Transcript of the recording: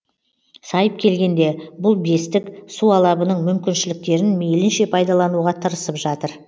сайып келгенде бұл бестік су алабының мүмкіншіліктерін мейлінше пайдалануға тырысып жатыр